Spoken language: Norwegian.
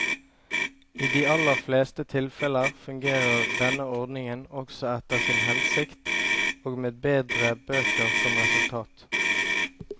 I de aller fleste tilfeller fungerer denne ordningen også etter sin hensikt og med bedre bøker som resultat.